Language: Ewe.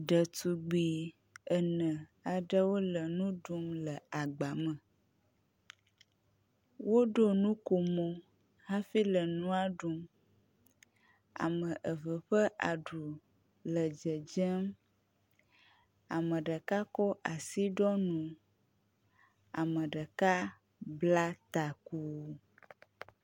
Ɖetugbi ene aɖewo le nu ɖum le agba me. woɖo nukomo hafi le nua ɖum ame eve ƒe aɖu le dzedzem. Ame ɖeka ko asi ɖo nu, ame ɖeka bla taku.